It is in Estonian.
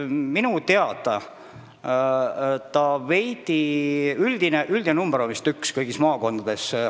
Minu teada on üldine palganumber maakondades üks.